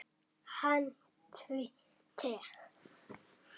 Hann tvísté.